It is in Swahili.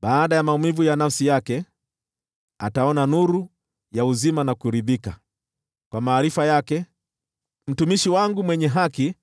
Baada ya maumivu ya nafsi yake, ataona nuru ya uzima na kuridhika; kwa maarifa yake, mtumishi wangu mwenye haki